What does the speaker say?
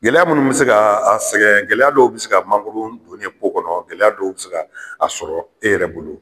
Gɛlɛya munnu be se gaa a sɛgɛn gɛlɛya dɔw bi se ka mangoro don ye kɔnɔ gɛlɛya dɔw be se k'a sɔrɔ e yɛrɛ bolo